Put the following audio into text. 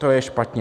To je špatně.